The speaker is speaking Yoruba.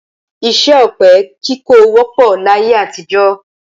Iṣẹ́ ọ̀pẹ-kíkọ wọ́pọ̀ láyé àtijọ́.